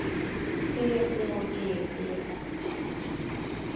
T Å G E N